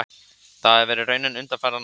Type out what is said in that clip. Það hafi verið raunin undanfarin ár